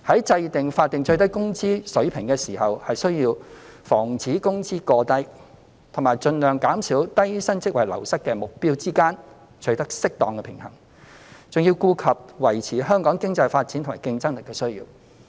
在訂定法定最低工資水平時，需要在防止工資過低與盡量減少低薪職位流失的目標之間取得適當的平衡，還要顧及維持香港經濟發展及競爭力的需要。